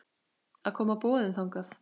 að koma boðum þangað.